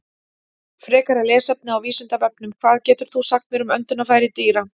Frekara lesefni á Vísindavefnum: Hvað getur þú sagt mér um öndunarfæri dýra?